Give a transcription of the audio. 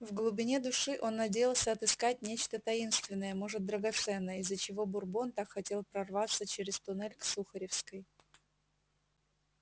в глубине души он надеялся отыскать нечто таинственное может драгоценное из-за чего бурбон так хотел прорваться через туннель к сухаревской